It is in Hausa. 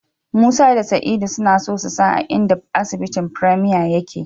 Musa da Sa'idu suna so su san a inda asibitin Premier yake.